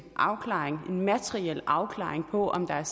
afklaring en materiel afklaring på om der